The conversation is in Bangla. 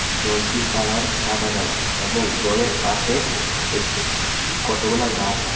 জলটির কালার সাদা কালার এবং জলের পাশে এক-কতগুলা গাছ আছে .